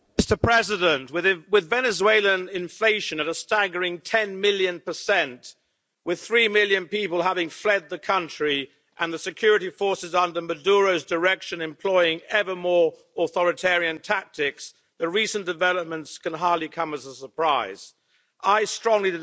Mr President, with Venezuelan inflation at a staggering 10 million percent, with three million people having fled the country and the security forces under Maduro's direction employing ever more authoritarian tactics, the recent developments can hardly come as a surprise. I strongly